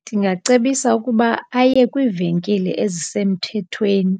Ndingacebisa ukuba aye kwiivenkile ezisemthethweni,